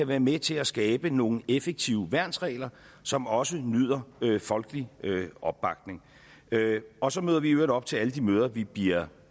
være med til at skabe nogle effektive værnsregler som også nyder folkelig opbakning og så møder vi i øvrigt op til alle de møder vi bliver